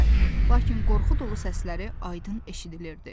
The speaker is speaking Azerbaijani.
Lakin qorxu dolu səsləri aydın eşidilirdi.